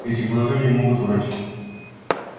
эти глаза не могут врать